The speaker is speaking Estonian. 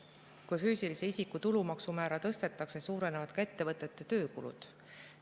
Kui füüsilise isiku tulumaksu määra tõstetakse, suurenevad ka ettevõtete töökulud.